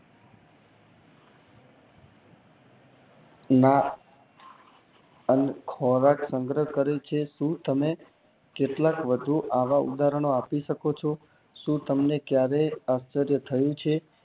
ના અને ખોરાક સંગ્રહ કરે છે અને કેટલાક વધુ આવા ઉદાહરનો આપી શકો છો શું તમને ક્યારેય આશ્ચર્ય થયું છે?